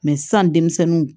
sisan denmisɛnninw